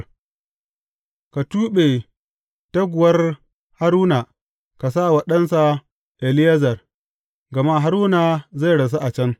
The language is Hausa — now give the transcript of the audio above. Ka tuɓe taguwar Haruna ka sa wa ɗansa Eleyazar, gama Haruna zai rasu a can.